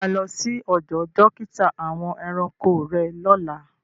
Ṣé o má lọ sí ọdọ̀ dókítà àwọn ẹranko rẹ́ lọ́lá?